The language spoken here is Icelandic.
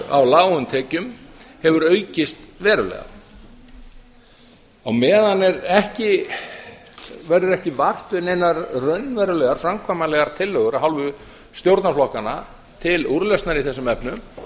á lágum tekjum hefur aukist verulega á meðan er verður ekki vart við neinar raunverulegar framkvæmanlegar tillögur af hálfu stjórnarflokkanna til úrlausnar í þessum efnum en